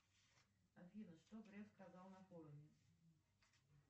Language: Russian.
афина что греф сказал на форуме